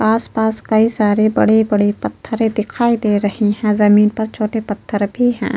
आस-पास कई सारे बड़े-बड़े पथरे दिखाई दे रहे है जमीन पर छोटे पत्थर भी है।